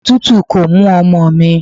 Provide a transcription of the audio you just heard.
Òtútù kò mú ọmọ mi.